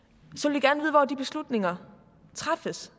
og hvor de beslutninger træffes